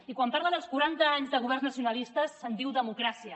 i quan parlen dels quaranta anys de governs nacionalistes se’n diu democràcia